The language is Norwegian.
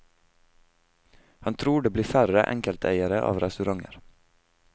Han tror det blir færre enkelteiere av restauranter.